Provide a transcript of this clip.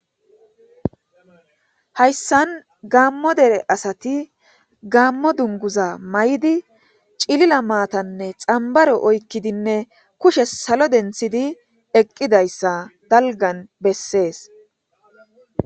Haysan Gamo dere asat gamo dunguza mayid cilila matane xambaro oykidinne kushe salo denthid eqidaysa dalgan beses.